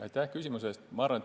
Aitäh küsimuse eest!